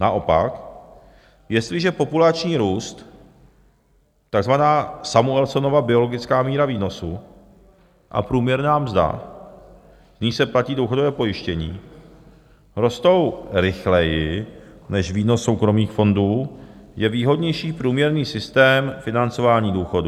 Naopak jestliže populační růst, takzvaná Samuelsonova biologická míra výnosu, a průměrná mzda, z níž se platí důchodové pojištění, rostou rychleji než výnos soukromých fondů, je výhodnější průběžný systém financování důchodů.